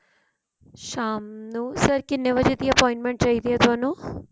ਸ਼ਾਮ ਨੂੰ sir ਕਿੰਨੇ ਵਜੇ ਦੀ appointment ਚਾਹੀਦੀ ਹੈ ਥੋਨੂੰ